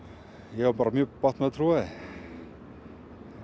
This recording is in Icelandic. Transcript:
ég á bara mjög bágt með að trúa því